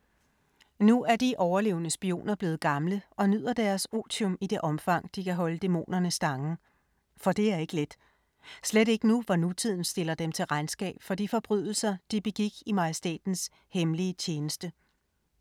Nu er de overlevende spioner blevet gamle og nyder deres otium i det omfang, de kan holde dæmonerne stangen. For det er ikke let. Slet ikke nu, hvor nutiden stiller dem til regnskab for de forbrydelser, de begik i majestætens hemmelige tjeneste.